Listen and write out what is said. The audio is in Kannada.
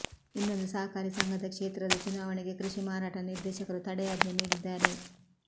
ಇನ್ನೊಂದು ಸಹಕಾರಿ ಸಂಘದ ಕ್ಷೇತ್ರದ ಚುನಾವಣೆಗೆ ಕೃಷಿ ಮಾರಾಟ ನಿರ್ದೇಶಕರು ತಡೆಯಾಜ್ಞೆ ನೀಡಿದ್ದಾರೆ